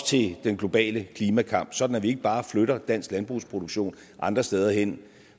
til den globale klimakamp sådan at vi ikke bare flytter dansk landbrugsproduktion andre steder hen